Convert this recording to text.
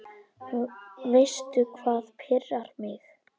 Veistu hvað pirrar mig?